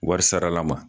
Wari sarala ma